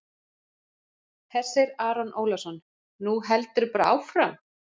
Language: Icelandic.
Hersir Aron Ólafsson: Nú heldurðu bara áfram?